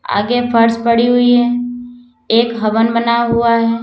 आगे फर्श पड़ी हुई है एक हवन बना हुआ है।